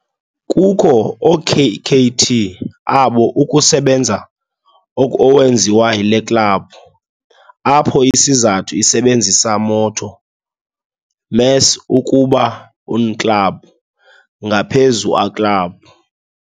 kukho okkt abo ukusebenza owenziwayo le club, apho isizathu isebenzisa motto "Més ukuba un club", ngaphezu a club.